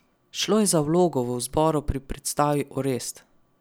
Šlo je za vlogo v zboru pri predstavi Orest.